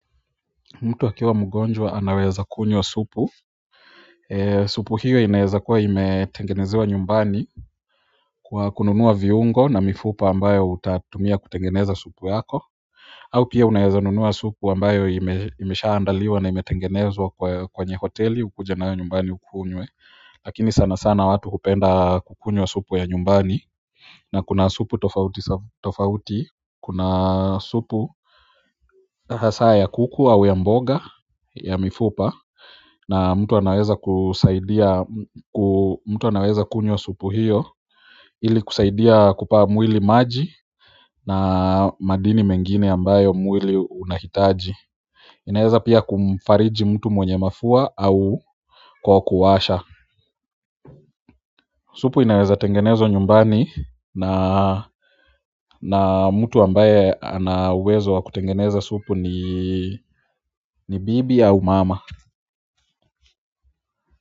Mtu akiwa mgonjwa anaweza kunywa supu supu hiyo inaezakuwa imetengenezewa nyumbani kwa kununua viungo na mifupa ambayo utatumia kutengeneza supu yako au pia unaezanunua supu ambayo imeshaa andaliwa na imetengenezwa kwenye hoteli ukuje nayo nyumbani ukunywe lakini sana sana watu hupenda kukunywa supu ya nyumbani na kuna supu tofauti tofauti kuna supu hasa ya kuku au ya mboga ya mifupa na mtu anaweza kusaidia mtu anaweza kunywa supu hiyo ili kusaidia kupaa mwili maji na madini mengine ambayo mwili unahitaji inaweza pia kumfariji mtu mwenye mafua au kwa kuwasha supu inaweza tengenezwa nyumbani na na mtu ambaye ana uwezo wa kutengeneza supu ni ni bibi au mama.